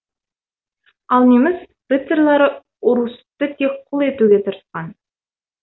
ал неміс рыцарьлары орұсутты тек құл етуге тырысқан